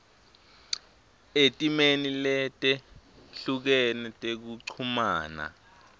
etimeni letehlukene tekuchumana